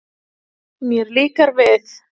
Mér líkar við